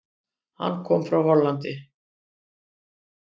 Hann kom frá Hollandi.